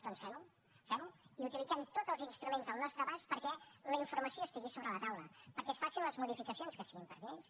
doncs fem ho fem ho i utilitzem tots els instruments al nostre abast perquè la informació estigui sobre la taula perquè es facin les modificacions que siguin pertinents